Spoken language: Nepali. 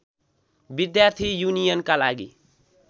विद्यार्थी युनियनका लागि